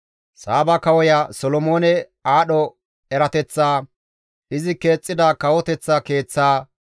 Saaba kawoya Solomoone aadho erateththaa, izi keexxida kawoteththa keeththaa,